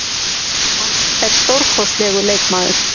Hann er stórkostlegur leikmaður.